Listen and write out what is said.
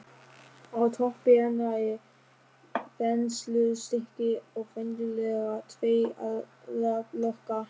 Á toppi hennar er þenslustykki og venjulega tveir aðallokar.